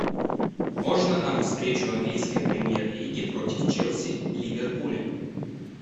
можно нам встречу английской премьер лиги против челси ливерпуля